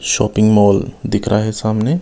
shopping mall दिख रहा है सामने--